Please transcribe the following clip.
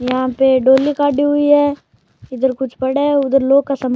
यहाँ पे डॉली काड़ी हुई है इधर कुछ पड़ा है उधर लोग का सामान --